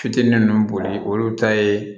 Fitinin nunnu boli olu ta ye